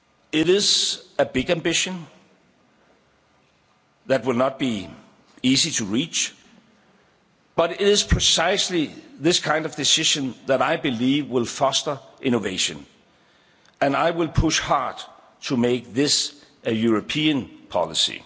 car. It is a big ambition that will not be easy to reach, but it is precisely this kind of decision that I believe will foster innovation, and I will push hard to make this a European